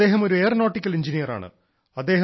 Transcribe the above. അദ്ദേഹം ഒരു എയറോനോട്ടിക്കൽ എൻജിനീയറാണ്